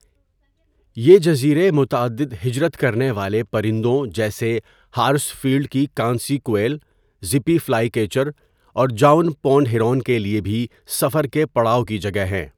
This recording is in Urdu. یہ جزیرے متعدد ہجرت کرنے والے پرندوں جیسے ہارسفیلڈ کی کانسی کویل، زپی فلائی کیچر اور جاون پونڈ ہیرون کے لیے بھی سفرکے پڑاؤ کی جگہ ہیں۔